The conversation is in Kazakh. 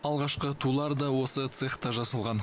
алғашқы тулар да осы цехта жасалған